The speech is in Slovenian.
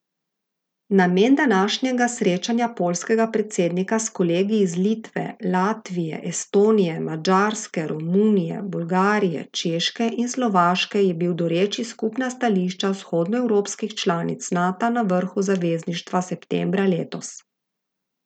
Namen današnjega srečanja poljskega predsednika s kolegi iz Litve, Latvije, Estonije, Madžarske, Romunije, Bolgarije, Češke in Slovaške je bil doreči skupna stališča vzhodnoevropskih članic Nata na vrhu zavezništva septembra letos.